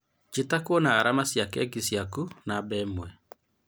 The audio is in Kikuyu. Njĩta kwona arama cia keki ciaku, namba imwe